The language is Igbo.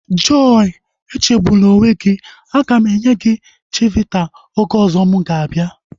Joy echegbuna onwe gị, aga m enye gị chivita oge ọzọ mụ ga-abịa